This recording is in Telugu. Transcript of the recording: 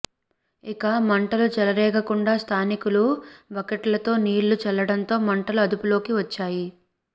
ఇక మంటలు చెలరేగకుండా స్థానికులు బకెట్లతో నీళ్లు చల్లడంతో మంటలు అదుపులోకి వచ్చాయి